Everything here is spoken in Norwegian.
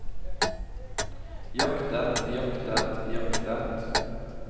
jaktet jaktet jaktet